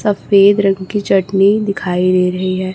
सफेद रंग की चटनी दिखाई दे रही है।